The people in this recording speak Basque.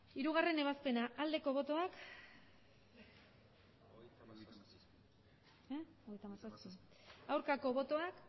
hirugarrena ebazpena aldeko botoak aurkako botoak